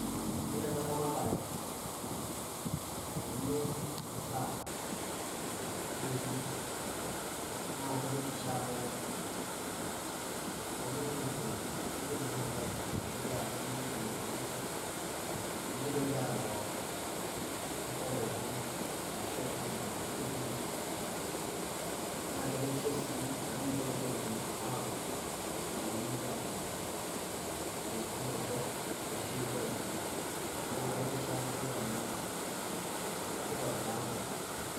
Yiolo ena ramatare naeni imasaa neitoti naa keretisho amu kenya nkujit naatae arashu keakini nedung'okini nemeitoki aroro enkop pooki arashu ainyal nkujit kumok. Naa keretisho sii amu meitoki intokiting' awuo naai newuo anya intokiting' torok arashu ewuo aimin, neaku keretisho ena toki amu keitobiraa nkujit.